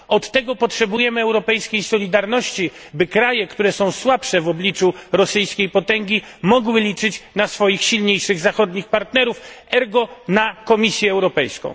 Do tego potrzebujemy europejskiej solidarności, by kraje, które są słabsze w obliczu rosyjskiej potęgi, mogły liczyć na swoich silniejszych zachodnich partnerów, ergo na Komisję Europejską.